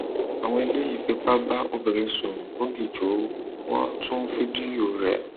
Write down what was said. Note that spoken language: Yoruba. àwọn eléyìí fipá bá obìnrin sùn lọgìjò wọn tún fídíò rẹ